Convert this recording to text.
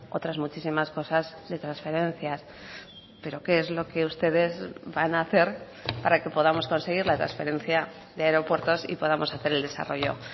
otras muchísimas cosas de transferencias pero qué es lo que ustedes van a hacer para que podamos conseguir la transferencia de aeropuertos y podamos hacer el desarrollo